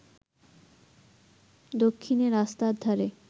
দক্ষিণে রাস্তার ধারে